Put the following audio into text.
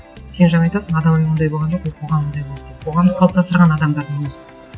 сен жаңа айтасың адам ондай болған жоқ ол қоғам ондай болды деп қоғамды қалыптастырған адамдардың өзі